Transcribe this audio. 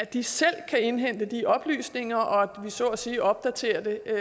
de selv indhente de oplysninger og så at sige opdaterer det